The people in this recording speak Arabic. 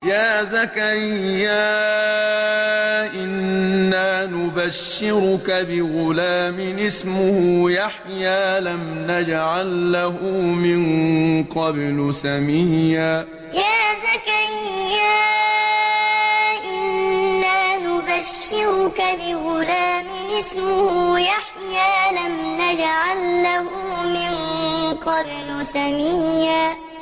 يَا زَكَرِيَّا إِنَّا نُبَشِّرُكَ بِغُلَامٍ اسْمُهُ يَحْيَىٰ لَمْ نَجْعَل لَّهُ مِن قَبْلُ سَمِيًّا يَا زَكَرِيَّا إِنَّا نُبَشِّرُكَ بِغُلَامٍ اسْمُهُ يَحْيَىٰ لَمْ نَجْعَل لَّهُ مِن قَبْلُ سَمِيًّا